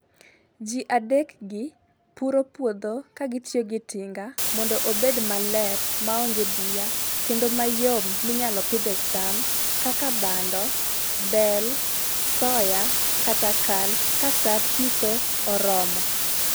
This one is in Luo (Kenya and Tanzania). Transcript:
Ji adek gi puro puodho ka gitiyo gi tinga mondo obed maler ma onge buya kendo mayom minyalo pidhe cham kaka bando, bel, soya kata kal kaa saa pitho oromo.